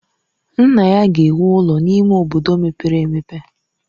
Nna ya ga-ewu ụlọ n'ime obodo mepere emepe.